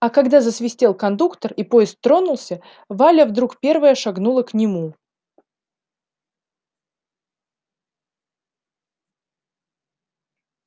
а когда засвистел кондуктор и поезд тронулся валя вдруг первая шагнула к нему